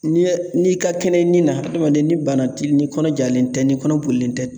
N'i ye n'i ka kɛnɛ ni na adamaden ni bana ti ni kɔnɔ jalen tɛ ni kɔnɔ bolilen tɛ